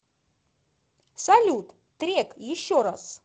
салют трек еще раз